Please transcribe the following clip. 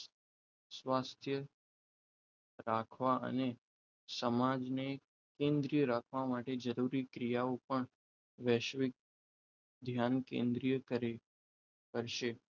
સ્વાસ્થ્ય રાખવા અને સમાજને સંગ્રહ રાખવા માટે જરૂરી ક્રિયાઓ પણ વૈશ્વિક ધ્યાન કેન્દ્રિય કરે કરશે